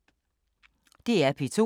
DR P2